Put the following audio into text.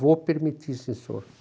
Vou permitir, sim senhor.